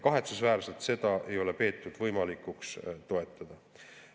Kahetsusväärselt ei ole neid peetud võimalikuks toetada.